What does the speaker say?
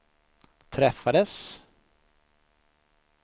träffades